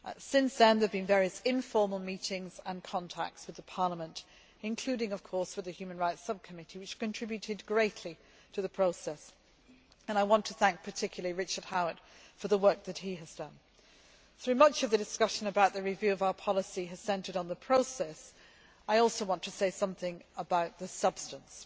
Since then there have been various informal meetings and contacts with Parliament, including of course with the Human Rights Subcommittee, which contributed greatly to the process, and I want to thank particularly Richard Howitt for the work that he has done. Though much of the discussion about the review of our policy has centred on the process, I also want to say something about the substance.